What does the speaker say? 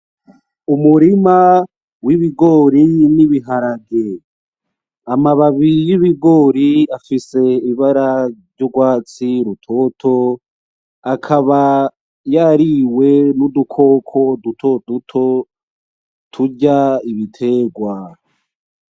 Umurima w'ibigori n'ibiharage. Amababi y’ibigori afise ibara ry’ugwatsi rutoto akaba yariwe n'udukoko dutotoduto turya ibitegwa.